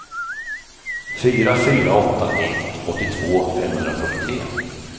fyra fyra åtta ett åttiotvå femhundrafyrtiotre